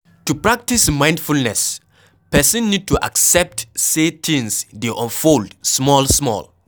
To practice mindfulness person need to accept sey things dey unfold small small